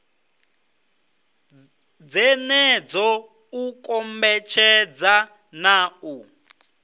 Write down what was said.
dzenedzo u kombetshedza na u